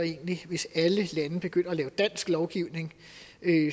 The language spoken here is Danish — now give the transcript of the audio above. egentlig hvis alle lande begynder at lave dansk lovgivning